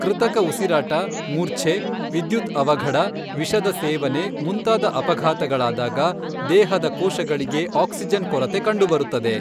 ಕೃತಕ ಉಸಿರಾಟ, ಮೂರ್ಛೆ, ವಿದ್ಯುತ್ ಅವಘಡ, ವಿಷದ ಸೇವನೆ ಮುಂತಾದ ಅಪಘಾತಗಳಾದಾಗ ದೇಹದ ಕೋಶಗಳಿಗೆ ಆಕ್ಸಿಜನ್ ಕೊರತೆ ಕಂಡುಬರುತ್ತದೆ.